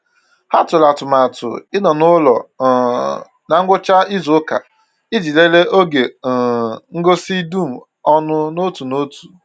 Ha tụrụ atụmatụ ịnọ n’ụlọ um na ngwụcha n’izu ụka iji lelee oge um ngosi dum ọnụ n’otu n’otu